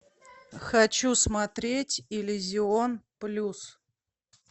хочу смотреть иллюзион плюс